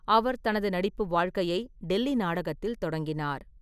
அவர் தனது நடிப்பு வாழ்க்கையை டெல்லி நாடகத்தில் தொடங்கினார்.